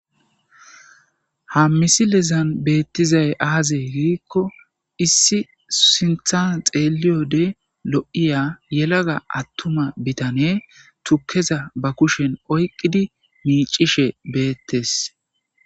ha misilezan beettizay aaze giikko issi sinthan xeeliyode lo7iya yelaga attuma bitane tukeza ba kushen oyqqidi miicishe beettes